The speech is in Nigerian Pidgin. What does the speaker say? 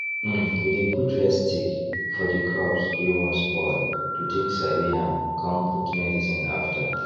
um we dey put red stick for the crops wey wan spoil to take sabi am con put medicine after